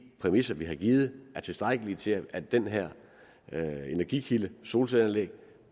præmisser vi har givet er tilstrækkelige til at den her energikilde solcelleanlæg